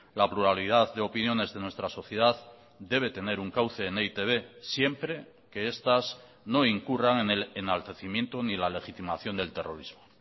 la pluralidad de opiniones de nuestra sociedad debe tener un cauce en e i te be siempre que estas no incurran en el enaltecimiento ni la legitimación del terrorismo